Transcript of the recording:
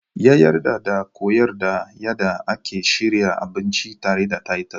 Ya yarda ya koyar da yadda ake shirya abinci tare da titus.